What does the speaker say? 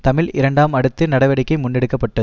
தமிழ் இரண்டாம் அடுத்த நடவடிக்கை முன்னெடுக்க பட்டது